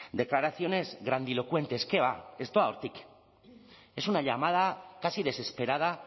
declaraciones grandilocuentes qué va ez doa hortik es una llamada casi desesperada